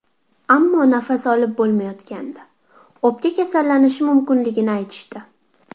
Ammo nafas olib bo‘lmayotgandi, o‘pka kasallanishi mumkinligini aytishdi.